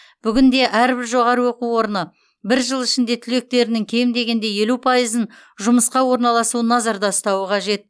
бүгінде әрбір жоғарғы оқу орны бір жыл ішінде түлектерінің кем дегенде елу пайызын жұмысқа орналасуын назарда ұстауы қажет